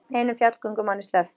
Einum fjallgöngumanni sleppt